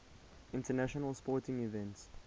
international sporting events